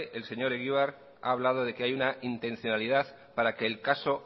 el señor egibar ha hablado de que hay una intencionalidad para que el caso